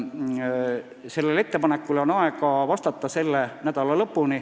Sellele ettepanekule on aega vastata selle nädala lõpuni.